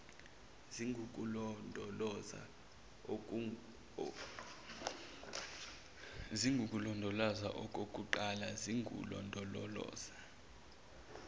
zingukulondoloza okukuqala zingululondoloza